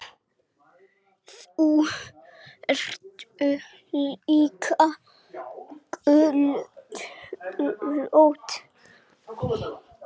Þau eru líka göldrótt.